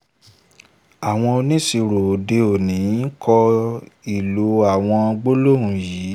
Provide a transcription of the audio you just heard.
àwọn oníṣirò òde òní ń kọ́ ìlò àwọn gbólóhùn yìí